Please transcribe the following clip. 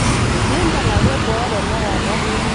mimpang ake boo tenakata